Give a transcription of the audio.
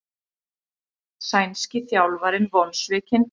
Sænski þjálfarinn vonsvikinn